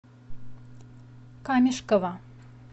камешково